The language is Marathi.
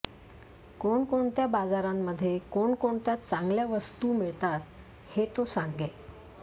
कोणकोणत्या बाजारांमध्ये कोणकोणत्या चांगल्या वस्तू मिळतात हे तो सांगे